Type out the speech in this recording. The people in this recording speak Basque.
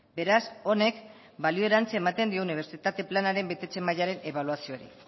beraz honek balio erantzia ematen dio unibertsitate planaren betetze mailaren ebaluazioari